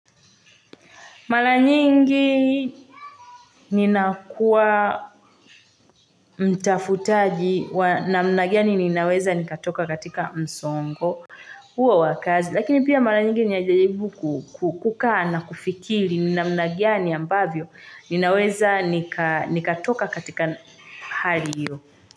Mara nyingi ninakua mtafutaji wa namna gani ninaweza nikatoka katika msongo huo wa kazi. Lakini pia mara nyingi ninajaribu kukaa na kufikili namna gani ambavyo ninaweza nikatoka katika hali iyo.